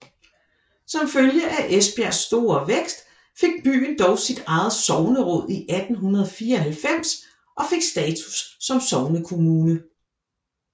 Som følge af Esbjergs store vækst fik byen dog sit eget sogneråd i 1894 og fik status som sognekommune